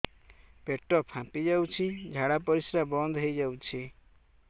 ପେଟ ଫାମ୍ପି ଯାଉଛି ଝାଡା ପରିଶ୍ରା ବନ୍ଦ ହେଇ ଯାଉଛି